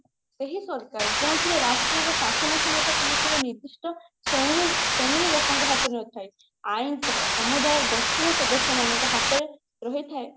ସେହି ସରକାର ଯେଉଁଥିରେ ରାଷ୍ଟ୍ରର ଶାସନ କ୍ଷମତା ଅନୁସାରେ ନିର୍ଦିଷ୍ଟ ଶ୍ରେଣୀର ଶ୍ରେଣୀର ଲୋକଙ୍କ ହାତରେ ନଥାଏ ସମୁଦାୟ ଗୋଷ୍ଠୀର ସଦସ୍ୟ ହାତରେ ରହିଥାଏ